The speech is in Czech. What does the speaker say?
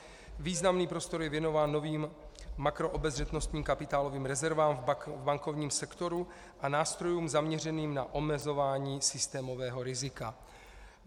Významný prostor je věnován novým makroobezřetnostním kapitálovým rezervám v bankovním sektoru a nástrojům zaměřeným na omezování systémového rizika.